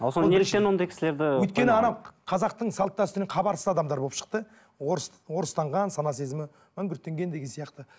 өйткені анау қазақтың салт дәстүрінен хабарсыз адамдар болып шықты орыс орыстанған сана сезімі мәңгүрттенген деген сияқты